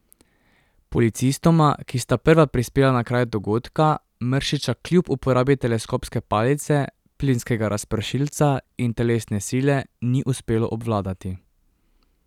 Policistoma, ki sta prva prispela na kraj dogodka, Mršiča kljub uporabi teleskopske palice, plinskega razpršilca in telesne sile ni uspelo obvladati.